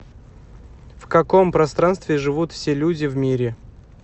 в каком пространстве живут все люди в мире